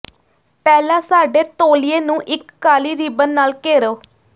ਪਹਿਲਾਂ ਸਾਡੇ ਤੌਲੀਏ ਨੂੰ ਇਕ ਕਾਲੀ ਰਿਬਨ ਨਾਲ ਘੇਰੋ